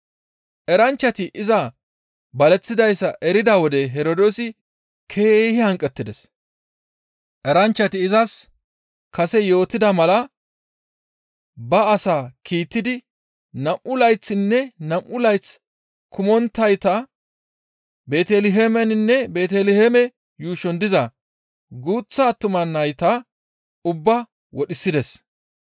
Eranchchati iza baleththidayssa erida wode Herdoosi keehi hanqettides. Eranchchati izas kase yootida mala ba as kiittidi nam7u layththinne nam7u layth kumonttayta Beeteliheemeninne Beeteliheeme yuushon diza guuththa attuma nayta ubbaa wodhisides.